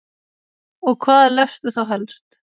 Og hvað lestu þá helst?